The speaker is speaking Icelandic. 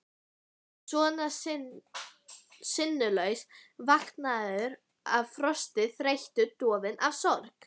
Svona sinnulaus, vankaður af frosti, þreytu, dofinn af sorg.